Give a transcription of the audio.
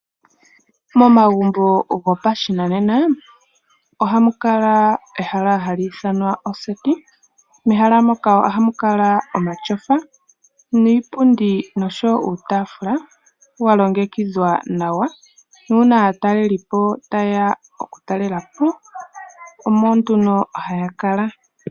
Momagumbo gopashinanena ohamu kala ehala hali ithanwa oseti. Mehala moka ohamu kala omatyofa niipundi noshowo uutaafula wa longekidhwa nawa. Nuuna aatalelipo taye ya okutalela po omo nduno haya kala.